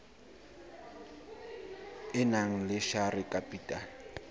e nang le share capital